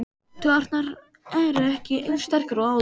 Taugarnar eru ekki eins sterkar og áður.